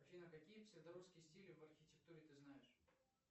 афина какие псевдорусские стили в архитектуре ты знаешь